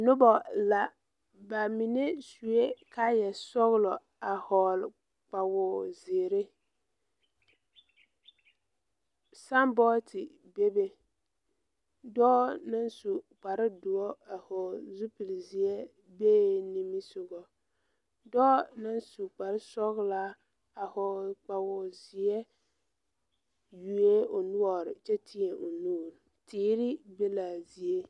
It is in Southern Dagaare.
Noba la ba minee suee kayɛ sɔglɔ a hɔɔle kpawozeere sanbɔɔte bebe dɔɔ naŋ su kparedoɔ a hɔɔle zupilzeɛ bee nimisugɔ dɔɔ naŋ su kpare sɔglaa a hɔɔle kpawozeɛ yuoɛɛ o noɔre kyɛ teɛ o nuure teere be laa zie.